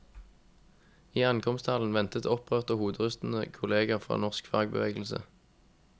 I ankomsthallen ventet opprørte og hoderystende kolleger fra norsk fagbevegelse.